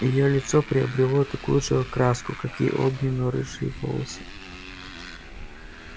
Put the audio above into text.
его лицо приобрело такую же окраску как и огненно-рыжие волосы